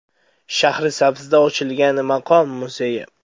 Shahrisabzda ochilgan maqom muzeyi.